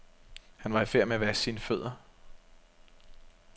Han var i færd med at vaske sine fødder.